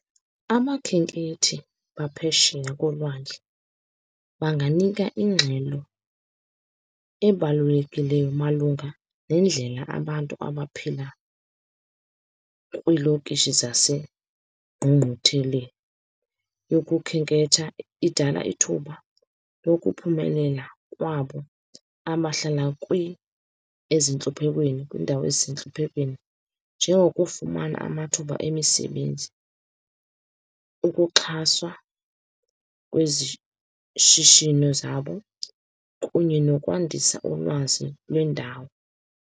Abakhenkethi baphesheya kolwandle banganika ingxelo ebalulekileyo malunga nendlela abantu abaphila kwiilokishi zasengqungqutheleni yokukhenketha. Idala ithuba lokuphumelela kwabo abahlala ezintluphekweni, kwiindawo ezisentluphekweni, njengokufumana amathuba emisebenzi, ukuxhaswa kwezishishino zabo kunye nokwandisa ulwazi lwendawo.